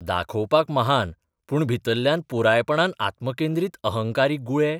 दाखोवपाक महान पूण भितरल्यान पुरायपणान आत्मकेंद्रीत अहंकारी गुळे?